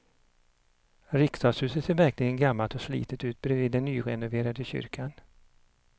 Riksdagshuset ser verkligen gammalt och slitet ut bredvid den nyrenoverade kyrkan.